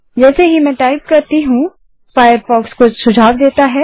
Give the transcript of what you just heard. जैसे ही मैं टाइप करती हूँ फ़ायरफ़ॉक्स कुछ सुझाव देता है